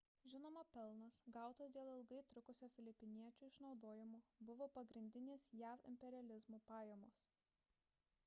žinoma pelnas gautas dėl ilgai trukusio filipiniečių išnaudojimo buvo pagrindinės jav imperializmo pajamos